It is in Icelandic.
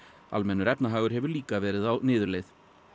almennur efnahagur hefur líka verið á niðurleið